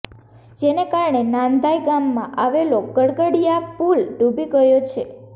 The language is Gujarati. જેને કારણે નાંધાઇ ગામમાં આવેલો ગરગડીયા પુલ ડૂબી ગયો છે